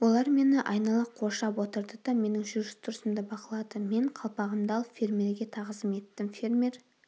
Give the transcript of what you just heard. олар мені айнала қоршап отырды да менің жүріс-тұрысымды бақылады мен қалпағымды алып фермерге тағзым еттім фермер